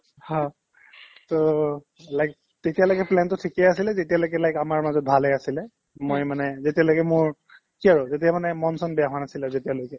হ্, to like তেতিয়ালৈকে plan তো ঠিকে আছিলে যেতিয়ালৈকে like আমাৰ মাজত ভালে আছিলে মই মানে যেতিয়ালৈকে মোৰ কি আৰু যেতিয়া মানে মনচন বেয়া হোৱা নাছিলে যেতিয়ালৈকে